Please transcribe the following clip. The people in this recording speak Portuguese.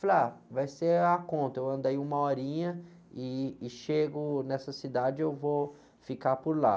Falei, ah, vai ser a conta, eu ando aí uma horinha e, e chego nessa cidade, eu vou ficar por lá.